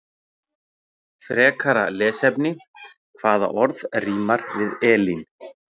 Frekara lesefni: Hvaða orð rímar við Elín?